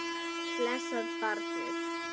Blessað barnið.